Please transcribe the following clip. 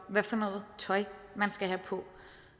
hvad for noget tøj man skal have på